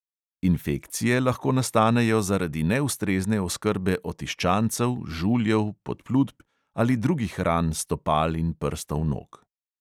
Infekcije lahko nastanejo zaradi neustrezne oskrbe otiščancev, žuljev, podplutb ali drugih ran stopal in prstov nog.